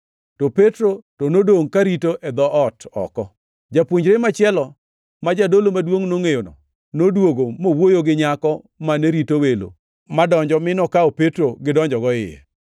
to Petro to nodongʼ karito e dhoot oko. Japuonjre machielo ma jadolo maduongʼ nongʼeyono noduogo mowuoyo gi nyako mane rito welo madonjo mi nokawo Petro gidonjogo iye.